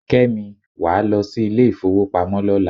Kẹ́mi, wàá lọ sí ilé ifowopamo lọ́la.